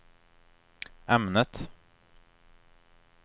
ämnet